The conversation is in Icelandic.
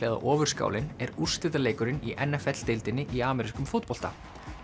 eða Ofurskálin er úrslitaleikurinn í n f l deildinni í amerískum fótbolta